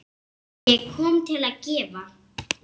Ég kom til að gefa.